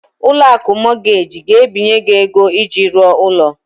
Ụlọ akụ Mọgaji ga-ebinye gị ego iji rụọ ụlọ.